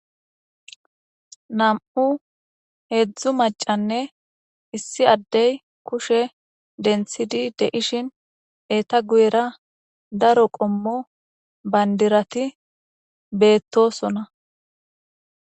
Nam'u heedzdzu macanne issi addey kushe denthidi deishin eeta guyera daro qommo bandirati beettosona.